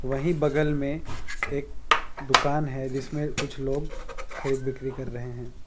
वहीं बगल में एक दुकान है जिसमे कुछ लोग खरीद बिक्री कर रहे है।